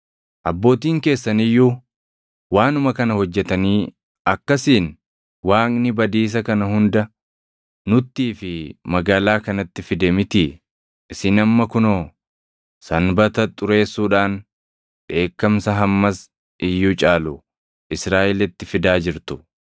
Abbootiin keessan iyyuu waanuma kana hojjetanii akkasiin Waaqni badiisa kana hunda nuttii fi magaalaa kanatti fide mitii? Isin amma kunoo Sanbata xureessuudhaan dheekkamsa hammas iyyuu caalu Israaʼelitti fidaa jirtu.”